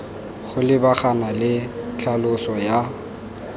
go lebagana le tlhaloso ya